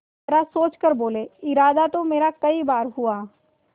जरा सोच कर बोलेइरादा तो मेरा कई बार हुआ